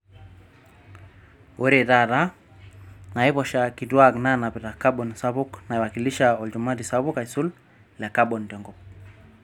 Ore taata, naiposha kituak naanapita kabon sapuk naiwakilisha olchumati sapuk aisul le kabon tenkop.